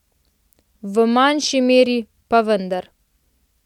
V manjši meri, pa vendar.